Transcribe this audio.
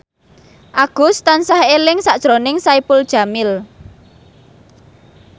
Agus tansah eling sakjroning Saipul Jamil